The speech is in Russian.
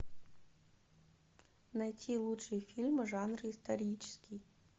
найти лучшие фильмы жанра исторический